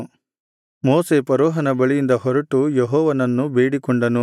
ಮೋಶೆ ಫರೋಹನ ಬಳಿಯಿಂದ ಹೊರಟು ಯೆಹೋವನನ್ನು ಬೇಡಿಕೊಂಡನು